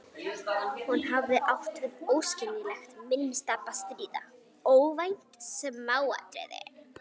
Hún hafði átt við óskiljanlegt minnistap að stríða: óvænt smáatriði.